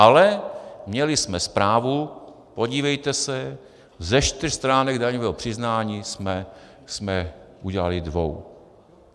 Ale měli jsme zprávu: podívejte se, ze čtyř stránek daňového přiznání jsme udělali dvě.